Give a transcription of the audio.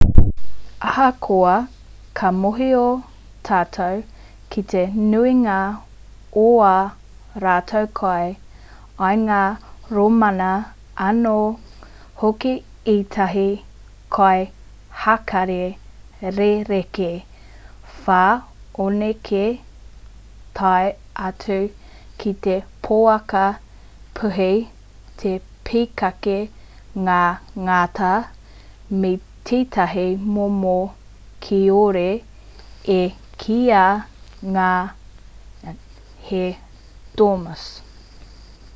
ahakoa ka mōhio tātou ki te nuinga o ā rātou kai i ngā rōmana anō hoki ētahi kai hākari rerekē whanokē tae atu ki te poaka puihi te pīkake ngā ngata me tētahi momo kiore e kīia nei he dormouse